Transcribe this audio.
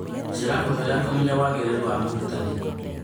Njĩra hũthũ ya kũmenya wagĩrĩru wa mũrutani